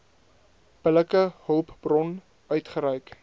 billike hulpbron uitgereik